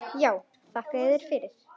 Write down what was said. Já, þakka yður fyrir.